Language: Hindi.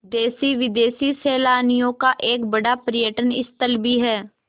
देशी विदेशी सैलानियों का एक बड़ा पर्यटन स्थल भी है